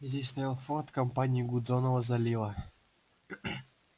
здесь стоял форт компании гудзонова залива